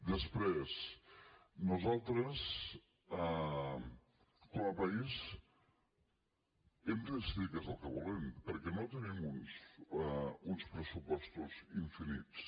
després nosaltres com a país hem de decidir què és el que volem perquè no tenim uns pressupostos infinits